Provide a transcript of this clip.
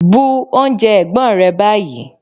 Bu oúnjẹ ẹ̀gbọ́n rẹ báyìí!